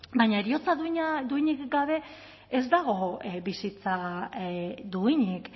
baina heriotza duinik gabe ez dago bizitza duinik